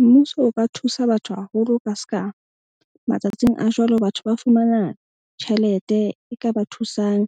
Mmuso o ka thusa batho haholo ka ska matsatsing a jwale, batho ba fumana tjhelete e ka ba thusang.